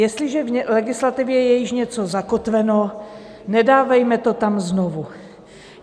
Jestliže v legislativě je již něco zakotveno, nedávejme to tam znovu.